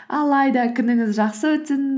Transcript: алайда күніңіз жақсы өтсін